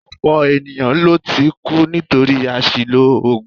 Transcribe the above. Ọ̀pọ̀ ènìyàn ló ti kú nítorí àṣìlò oògùn